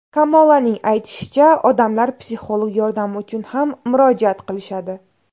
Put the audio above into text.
Kamolaning aytishicha, odamlar psixolog yordami uchun ham murojaat qilishadi.